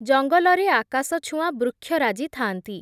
ଜଙ୍ଗଲରେ ଆକାଶଛୁଆଁ ବୃକ୍ଷରାଜି ଥାଆନ୍ତି ।